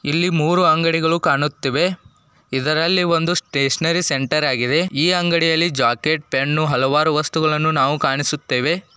ಇಲ್ಲಿ ಮೂರು ಅಂಗಡಿಗಳು ಕಾಣುತ್ತಿವೆ ಇದರಲ್ಲಿ ಒಂದು ಸ್ಟೇಷನರಿ ಸೆಂಟರ್ ಆಗಿದೆ. ಈ ಅಂಗಡಿಯಲ್ಲಿ ಜಾಕೆಟ್ ಪೆನ್ನು ಹಲವಾರು ವಸ್ತುಗಳು ಕಾಣಿಸುತ್ತೇವೆ.